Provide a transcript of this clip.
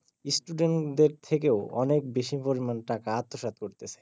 student দের থেকেও অনেক বেশি পরিমান টাকা আত্মস্বাদ করতিছে